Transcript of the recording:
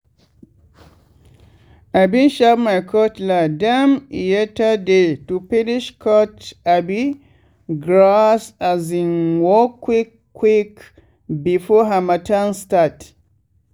i bin sharp my cutlass dem yeateday to finish cut um grass um work quick quick before harmattan start.